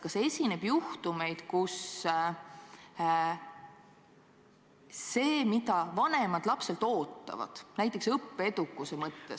Kas esineb juhtumeid, kus see, mida vanemad lapselt ootavad, näiteks õppeedukuse mõttes, ...